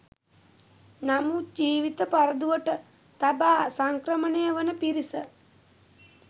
නමුත් ජීවිත පරදුවට තබා සංක්‍රමණය වන පිරිස